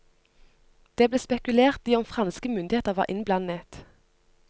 Det ble spekulert i om franske myndigheter var innblandet.